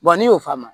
n'i y'o faamu